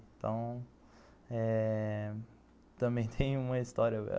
Então eh... também tem uma história.